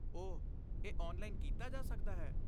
ਓਹ, ਇਹ ਔਨਲਾਈਨ ਕੀਤਾ ਜਾ ਸਕਦਾ ਹੈ?